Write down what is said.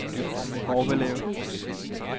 Horbelev